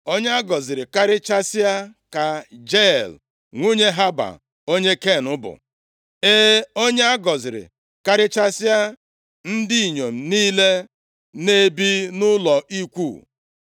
“Onye a gọziri karịchasịa ka Jael, nwunye Heba onye Ken bụ, e, onye a gọziri karịchasịa ndị inyom niile na-ebi nʼụlọ ikwu.